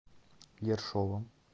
ершовом